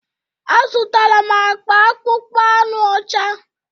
A zụtara m akpa akpụkpọ anụ ọcha.